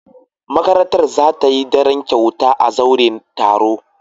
Makarantar za ta yi daren kyauta a zauren taro.